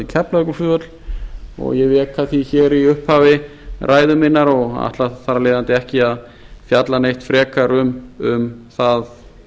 varnarsvæðið keflavíkurflugvöll ég rek það því í upphafi ræðu minnar og ætla þar af leiðandi ekki að fjalla neitt frekar um það